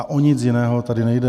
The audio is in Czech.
A o nic jiného tady nejde.